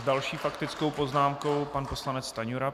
S další faktickou poznámkou pan poslanec Stanjura.